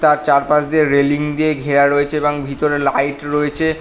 তার চারপাশ দিয়ে রেলিং দিয়ে ঘেরা রয়েছে এবং ভিতরে লাইট রয়েছে।